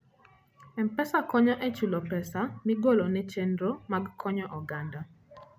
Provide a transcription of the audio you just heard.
M-Pesa konyo e chulo pesa migolo ne chenro mag konyo oganda.